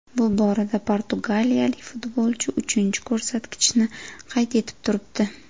Bu borada portugaliyalik futbolchi uchinchi ko‘rsatkichni qayd etib turibdi.